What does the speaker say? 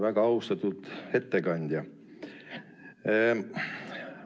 Väga austatud ettekandja!